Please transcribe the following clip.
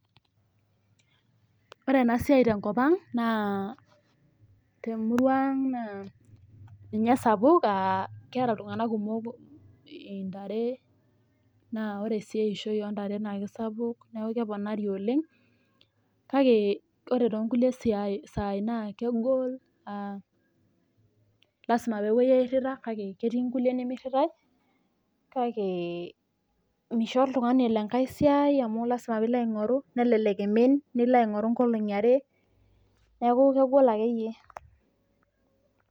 Ore ena siai temurua ang naa ninye sapuk ,keeta iltunganak intare naa ore sii eishoi oontare naa kisapuk neeku keponari oleng kake ore toonkulie saai naa kegol lasima pee epuoi airita kake ketii nemiritae kake misho oltungani elo esiai emu kelelek emin nilo aingoru nkolongi are neeku kegol akeyie.